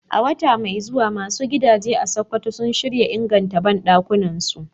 A wata mai zuwa, masu gidaje a Sokoto suna shirin inganta banɗakunansu